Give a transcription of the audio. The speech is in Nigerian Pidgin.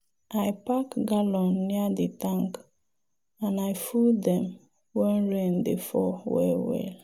i pack gallon near the tank and i full dem when rain dey fall well well.